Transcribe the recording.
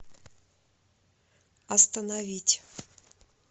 остановить